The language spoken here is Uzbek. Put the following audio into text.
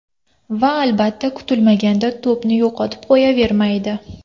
Va, albatta, kutilmaganda to‘pni yo‘qotib qo‘yavermaydi.